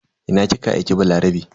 Ina kika aike Balarabe?